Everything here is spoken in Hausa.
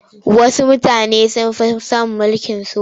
Wasu mutanen sun fi son mulkin soja.